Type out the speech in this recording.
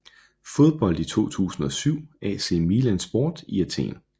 Fodbold i 2007 AC Milan Sport i Athen